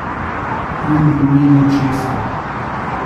In v imenu česa?